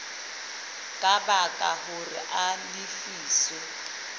ka baka hore a lefiswe